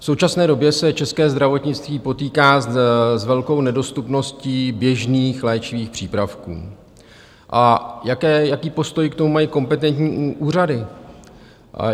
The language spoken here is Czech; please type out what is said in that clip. V současné době se české zdravotnictví potýká s velkou nedostupností běžných léčivých přípravků, a jaký postoj k tomu mají kompetentní úřady?